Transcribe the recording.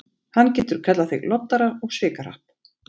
Hann getur kallað þig loddara og svikahrapp.